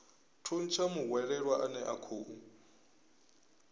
thuntsha muhwelelwa ane a khou